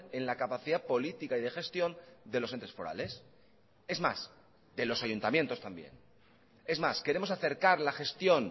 en la capacidad política y de gestión de los entes forales es más de los ayuntamientos también es más queremos acercar la gestión